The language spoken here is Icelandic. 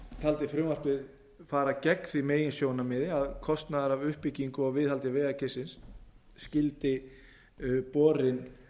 taldi frumvarpið fara gegn því meginsjónarmiði að kostnaður af uppbyggingu og viðhaldi vegakerfisins skuli borinn